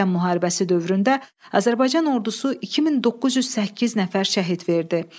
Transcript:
Vətən müharibəsi dövründə Azərbaycan ordusu 2908 nəfər şəhid verdi.